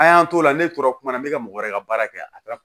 A y'an t'o la ne tora kuma na an bɛ ka mɔgɔ wɛrɛ ka baara kɛ a ka